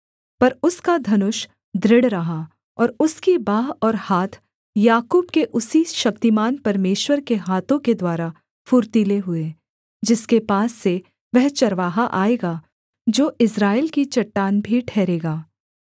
पर उसका धनुष दृढ़ रहा और उसकी बाँह और हाथ याकूब के उसी शक्तिमान परमेश्वर के हाथों के द्वारा फुर्तीले हुए जिसके पास से वह चरवाहा आएगा जो इस्राएल की चट्टान भी ठहरेगा